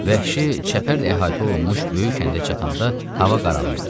Vəhşi çəpərlə əhatə olunmuş böyük kəndə çatanda hava qaralırdı.